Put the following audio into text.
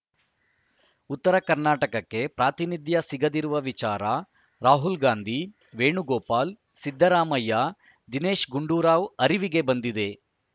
ಉತ್ತರ ಕರ್ನಾಟಕಕ್ಕೆ ಪ್ರಾತಿನಿಧ್ಯ ಸಿಗದಿರುವ ವಿಚಾರ ರಾಹುಲ್‌ ಗಾಂಧಿ ವೇಣುಗೋಪಾಲ್‌ ಸಿದ್ದರಾಮಯ್ಯ ದಿನೇಶ್‌ ಗುಂಡೂರಾವ್‌ ಅರಿವಿಗೆ ಬಂದಿದೆ